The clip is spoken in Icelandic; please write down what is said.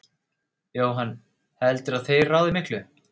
Jóhann: Heldurðu að þeir ráði miklu?